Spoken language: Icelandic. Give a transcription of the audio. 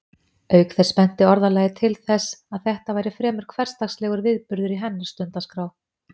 Auk þess benti orðalagið til þess að þetta væri fremur hversdagslegur viðburður í hennar stundaskrá.